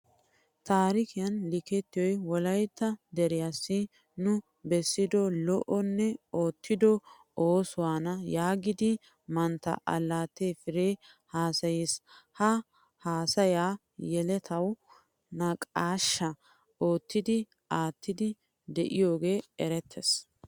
Tarikiyan likettiyoy wolaytta deriyassi nu beessido lo'onne oottido oosuwaana yaagidi mantta alataye fire haasaiis. Ha haasaya yelettawu naaqqashsha oottidi aattidi deiyoge erettees.